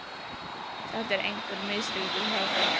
Þetta er einhver misskilningur hjá þér!